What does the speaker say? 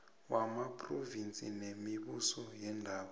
wamaphrovinsi nemibuso yeendawo